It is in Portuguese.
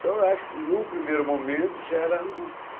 Então eu acho que num primeiro momento gera angústia.